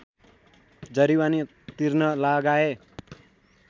जरिवाना तिर्न लगाए